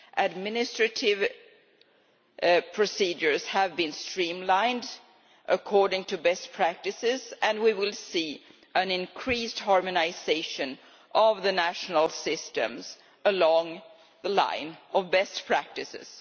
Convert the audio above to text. Administrative procedures have been streamlined according to best practices, and we will see an increased harmonisation of the national systems along the lines of best practices.